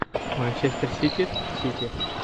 манчестер сити сити